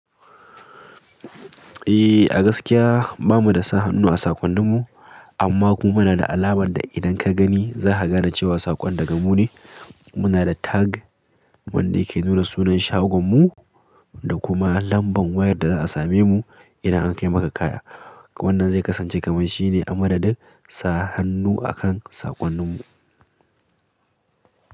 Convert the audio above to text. Eh, a gaskiya ba mu da sa hannu a saƙonninmu, amma kuma muna da alamar da idan ka gani za ka gane cewa saƙon daga mu ne. Muna da tag wanda yake nuna sunan shagon mu da kuma lambar wayar da za a same mu idan an kai maka kaya. Wannan zainkasance a matsayin shine a madadin sa hannu a sakonnin mu.